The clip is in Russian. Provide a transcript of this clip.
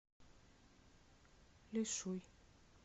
лишуй